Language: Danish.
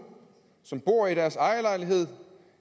som bor i deres ejerlejlighed